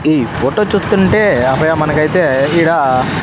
ఈ ఫోటో చూస్తుంటే అభయ మనకైతే ఈడ.